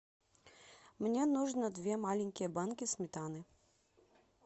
мне нужно две маленькие банки сметаны